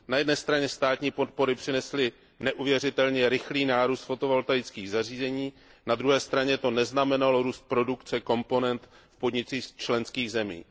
Na jedné straně státní podpory přinesly neuvěřitelně rychlý nárůst fotovoltaických zařízení, na druhé straně to neznamenalo růst produkce komponent v podnicích z členských zemí.